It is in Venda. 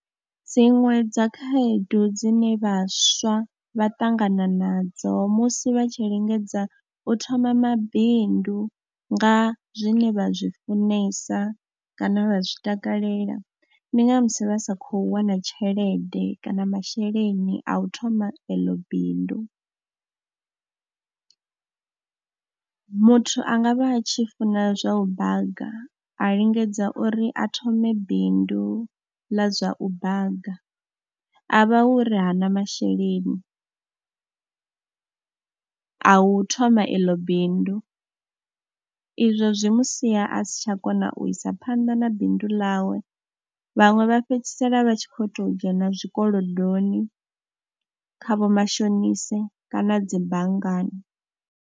Dziṅwe dza khaedu dzine vhaswa vha ṱangana nadzo musi vha tshi lingedza u thoma mabindu nga zwine vha zwi funesa kana vha zwi takalela, ndi nga musi vha sa khou wana tshelede kana masheleni a u thoma eḽo bindu. Muthu a nga vha tshi funa zwa u baga a lingedza uri a thome bindu ḽa zwa u baga, a vha hu ri hana masheleni a u thoma iḽo bindu, izwo zwi mu sia a si tsha kona u isa phanḓa na bindu ḽawe. Vhaṅwe vha fhedzisela vha tshi khou tou dzhena zwikolodoni kha vhomashonise kana dzi banngani.